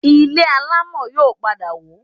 Ilé alámọ̀ yóò padà wó